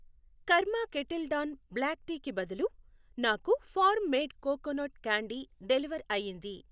Kaaram kettle dawn black tea కి బదులు నాకు farm made coconut candy deliver అయ్యింది.